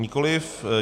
Nikoliv.